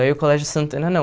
Aí o Colégio Santana, não.